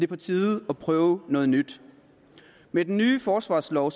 på tide at prøve noget nyt med den ny forsvarslov